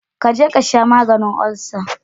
Ka je ka sha maganin olsa